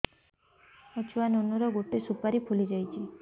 ମୋ ଛୁଆ ନୁନୁ ର ଗଟେ ସୁପାରୀ ଫୁଲି ଯାଇଛି